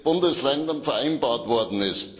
Bundesländern vereinbart worden ist.